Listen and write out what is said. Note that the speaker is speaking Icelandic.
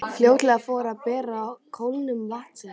Fljótlega fór að bera á kólnun vatnsins.